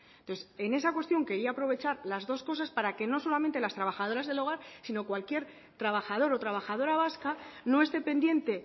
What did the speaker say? entonces en esa cuestión quería aprovechar las dos cosas para que no solamente las trabajadoras del hogar sino cualquier trabajador o trabajadora vasca no esté pendiente